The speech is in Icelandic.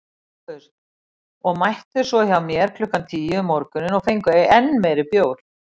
SOPHUS: Og mættuð svo hjá mér klukkan tíu um morguninn og fenguð enn meiri bjór.